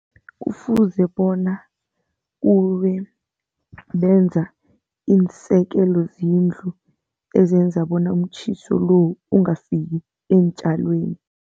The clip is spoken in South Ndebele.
Kufuze bona kube benza iinsekelozindlu ezenza bona umtjhiso lo ungafiki eentjalweni.